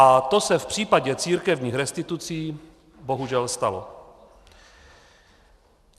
A to se v případě církevních restitucí bohužel stalo.